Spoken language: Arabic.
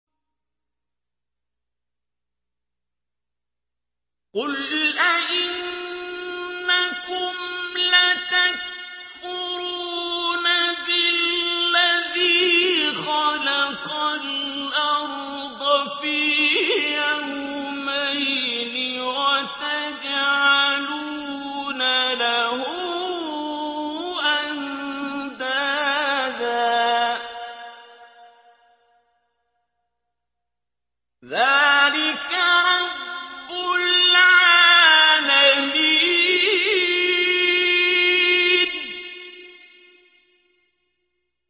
۞ قُلْ أَئِنَّكُمْ لَتَكْفُرُونَ بِالَّذِي خَلَقَ الْأَرْضَ فِي يَوْمَيْنِ وَتَجْعَلُونَ لَهُ أَندَادًا ۚ ذَٰلِكَ رَبُّ الْعَالَمِينَ